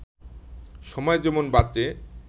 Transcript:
সময় যেমন বাঁচে